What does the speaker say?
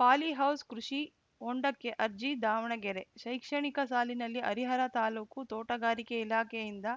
polyhouse ಕೃಷಿ ಹೊಂಡಕ್ಕೆ ಅರ್ಜಿ ದಾವಣಗೆರೆ ಶೈಕ್ಷಣಿಕ ಸಾಲಿನಲ್ಲಿ ಹರಿಹರ ತಾಲೂಕು ತೋಟಗಾರಿಕೆ ಇಲಾಖೆಯಿಂದ